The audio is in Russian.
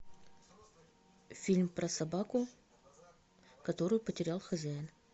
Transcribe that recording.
фильм про собаку которую потерял хозяин